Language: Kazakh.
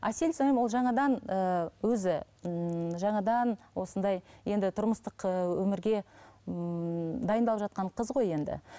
әсел сіңілім ол жаңадан ііі өзі ммм жаңадан осындай енді тұрмыстық өмірге ммм дайындалып жатқан қыз ғой енді